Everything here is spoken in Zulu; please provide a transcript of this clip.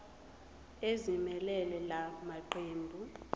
ezimelele la maqembu